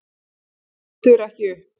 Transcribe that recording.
Lítur ekki upp.